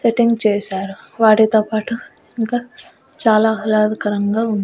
Return చేశారు వాటితో పాటు ఇంకా చాలా ఆహ్లాదకరంగా ఉంది.